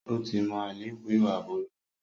Ó ti mọ àléébù ìwà burúkú.